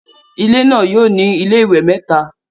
Ilé náà yóò ní iléwẹ̀ mẹ́ta